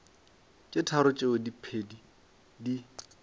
tše tharo tšeo diphedi di